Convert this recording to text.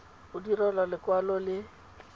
go direlwa lekwalo le le